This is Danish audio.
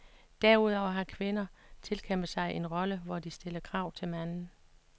Derudover har kvinder tilkæmpet sig en rolle, hvor de stiller krav til manden.